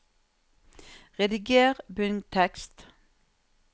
Rediger bunntekst